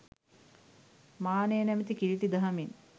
මානය නමැති කිළිටි දහමින්